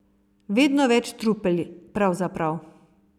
Vedno več trupel, pravzaprav.